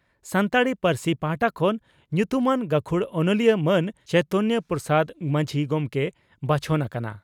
ᱥᱟᱱᱛᱟᱲᱤ ᱯᱟᱹᱨᱥᱤ ᱯᱟᱦᱴᱟ ᱠᱷᱚᱱ ᱧᱩᱛᱩᱢᱟᱱ ᱜᱟᱹᱠᱷᱩᱲ ᱚᱱᱚᱞᱤᱭᱟᱹ ᱢᱟᱱ ᱪᱚᱭᱛᱚᱱᱭᱚ ᱯᱨᱚᱥᱟᱫᱽ ᱢᱟᱹᱡᱷᱤ ᱜᱚᱢᱠᱮᱭ ᱵᱟᱪᱷᱚᱱ ᱟᱠᱟᱱᱟ ᱾